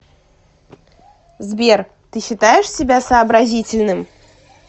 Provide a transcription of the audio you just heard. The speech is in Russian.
сбер ты считаешь себя сообразительным